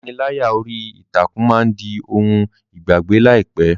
Ìpániláyà orí ìtàkùn máa di ohun ìgbàgbé láìpẹ́.